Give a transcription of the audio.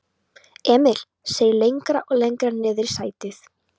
Emil seig lengra og lengra niðrí sætið.